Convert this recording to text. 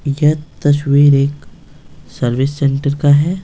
यह तस्वीर एक सर्विस सेंटर का है।